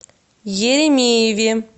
еремееве